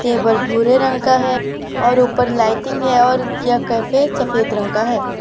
Table भूरे रंग का है और ऊपर लाइटिंग है और यह कैफे सफेद रंग का है।